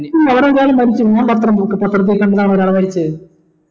പതിനഞ്ചാൾ മരിച്ചിന് നിയാ പത്രം നോക്ക് പത്രത്തി കണ്ടതാ മരിച്ചെ